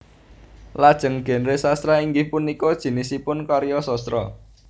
Lajeng genre sastra inggih punika jinisipun karya sastra